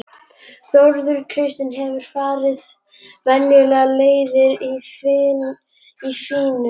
Þórunn Kristín hefur ekki farið venjulegar leiðir í lífinu.